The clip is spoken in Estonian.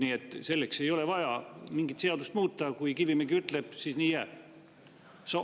Nii et selleks ei ole vaja muuta mingit seadust: kui Kivimägi ütleb, siis nii jääb.